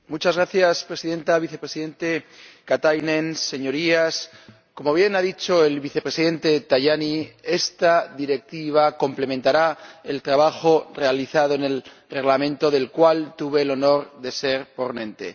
Señora Presidenta, vicepresidente Katainen, señorías, como bien ha dicho el vicepresidente Tajani, esta Directiva complementará el trabajo realizado en el Reglamento, del cual tuve el honor de ser ponente.